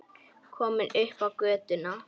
Komin upp á götuna.